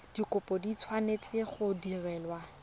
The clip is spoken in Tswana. dikopo di tshwanetse go direlwa